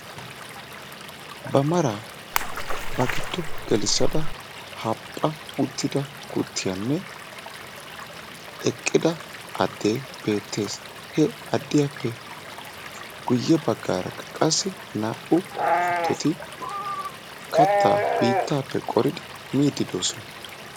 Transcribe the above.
Ba maraa ba giddo gelissada haphpha uttida kuttiyaanne eqqida addee beettees. he addiyaappe guye baggaarakka qassi naa"u kuttoti kattaa biittaappe qoridi miiddi doosona.